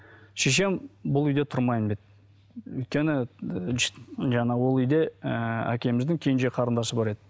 шешем бұл үйде тұрмаймын деді өйткені жаңа ол үйде ыыы әкеміздің кенже қарындасы бар еді